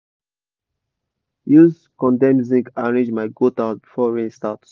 i um da use condem zinc arrange my goat house before rain start